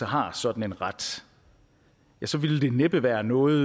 har sådan en ret så ville det næppe være noget